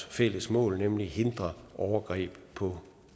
fælles mål nemlig at hindre overgreb på